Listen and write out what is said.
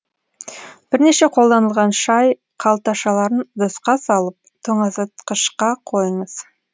бірнеше қолданылған шай қалташаларын ыдысқа салып тоңазытқышқа қойыңыз